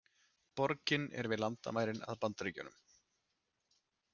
Borgin er við landamærin að Bandaríkjunum